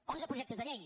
onze projectes de llei